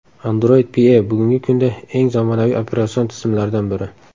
Android Pie bugungi kunda eng zamonaviy operatsion tizimlardan biri.